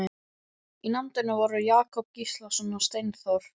Í nefndinni voru Jakob Gíslason og Steinþór